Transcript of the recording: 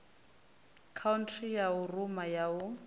khaunthara ya rumu ya u